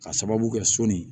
Ka sababu kɛ sɔni